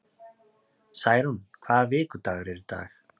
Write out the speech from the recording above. Særún, hvaða vikudagur er í dag?